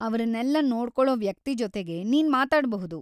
ಅವ್ರನ್ನೆಲ್ಲ ನೋಡ್ಕೊಳೋ ವ್ಯಕ್ತಿ ಜೊತೆಗೆ ನೀನ್ ಮಾತಾಡ್ಬಹುದು.